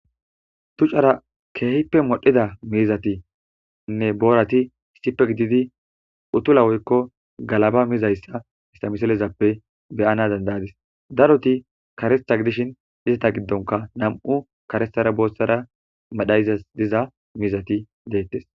Ducara keehippe moddida miizzathinne boorathi issippe gididi uthula woykko galaba mizayssa istha misilezappe be7ana danddays; darothi kareththa gidishin izatha giddonkka nam7u karethara booththara madayzes diza miizzethi beeththes.